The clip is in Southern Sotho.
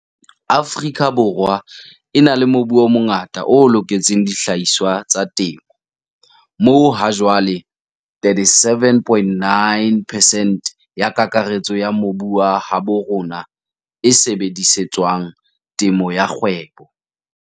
Afrika Borwa e na le mobu o mongata o loketseng dihlahiswa tsa temo, moo hajwale 37,9 percent ya kakaretso ya mobu wa habo rona e sebedise tswang temo ya kgwebo.